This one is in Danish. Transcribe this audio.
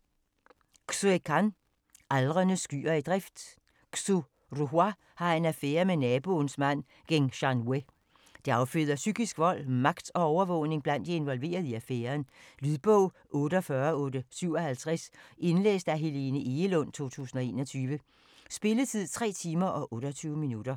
Can, Xue: Aldrende skyer i drift Xu Ruhua har en affærre med naboens mand Geng Shanwue. Det afføder psykisk vold, magt og overvågning blandt de involverede i affæren. Lydbog 48857 Indlæst af Helene Egelund, 2021. Spilletid: 3 timer, 28 minutter.